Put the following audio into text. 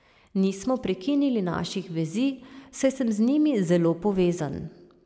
Nismo prekinili naših vezi, saj sem z njimi zelo povezan.